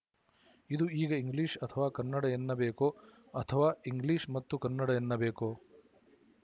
ಇದು ಈಗ ಇಂಗ್ಲಿಶ ಅಥವಾ ಕನ್ನಡ ಎನ್ನಬೇಕೋ ಅಥವಾ ಇಂಗ್ಲಿಶ ಮತ್ತು ಕನ್ನಡ ಎನ್ನಬೇಕೋ